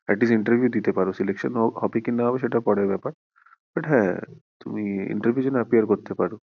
atleast interview দিতে পারো selection হবে কি না হবে সেটা পরের ব্যাপার but হ্যাঁ তুমি interview এর জন্য appear করতে পারো।